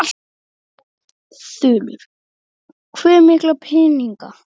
Þulur: Hve mikla peninga?